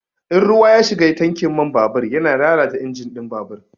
In ruwa ya shiga tankin man babur yana lalata injin ɗin babur.